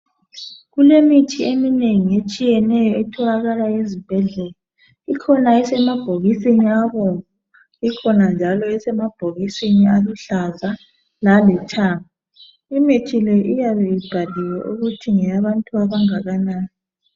kulemithi eminengi etholaka ezibhedlela ikhona esemabhokisini abomvu ikhona njalo esemabhokisini aluhlaza laluthanga imithi leyi iyabe ibhaliwe ukuthi ngeyabantu abeleminyaka engakanani